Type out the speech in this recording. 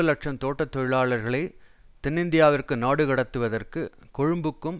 இலட்சம் தோட்ட தொழிலாளர்களை தென்னிந்தியாவிற்கு நாடு கடத்துவதற்கு கொழும்புக்கும்